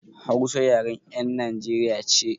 Hausa yaren 'yan Najeriya ce.